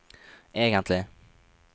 egentlig